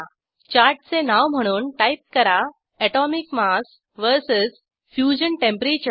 चार्टचे नाव म्हणून टाईप करा atomic mass VS fusion temperature